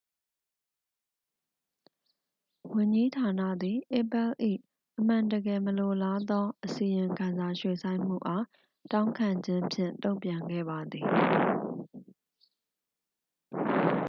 "ဝန်ကြီးဌာနသည် apple ၏ "အမှန်တကယ်မလိုလားသော" အစီရင်ခံစာရွှေ့ဆိုင်းမှုအား တောင်းခံခြင်းဖြင့် တုန့်ပြန်ခဲ့ပါသည်။